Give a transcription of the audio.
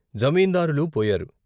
జమీందారులూ పోయారు.